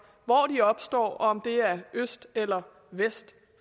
hvor de opstår om det er øst eller vest